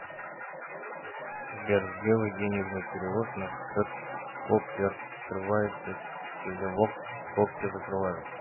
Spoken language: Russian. сбер сделай денежный перевод на счет скобки открываются телевокс скобки закрываются